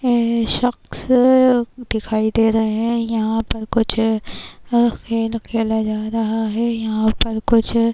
یہ شخص دکھایی دے رہی ہیں، یھاں پر کچھ کھیل کھیلا جا رہا ہے- یھاں پر کچھ --